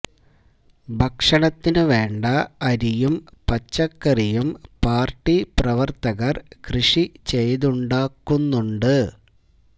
ഭക്ഷണത്തിന് വേണ്ട അരിയും പച്ചക്കറിയും പാർട്ടി പ്രവർത്തകർ കൃഷി ചെയ്തുണ്ടാക്കുന്നുണ്ട്